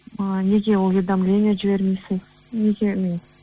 ыыы неге уведомление жібермейсіз неге мен